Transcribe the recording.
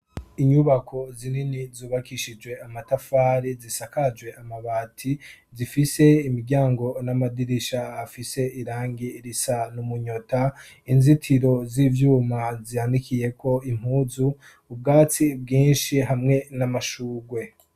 Inyubako zinini zubakishijwe amatafari zisakajwe amabati zifise imiryango n'amadirisha afise irangi risa n'umunyota inzitiro z'ivyuma zanikiyeko impuzu ubwatsi bwinshi hamwe n'amashugwe.